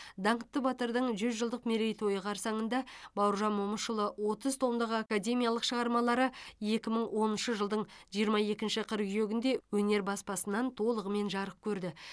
даңқты батырдың жүз жылдық мерейтойы қарсаңында бауыржан момышұлының отыз томдық академиялық шығармалары екі мың оныншы жылдың жиырма екінші қыркүйегінде өнер баспасынан толығымен жарық көрді